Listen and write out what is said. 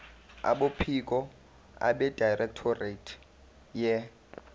kwabophiko abedirectorate ye